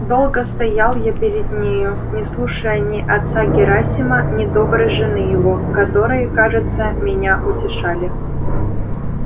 долго стоял я перед нею не слушая ни отца герасима ни доброй жены его которые кажется меня утешали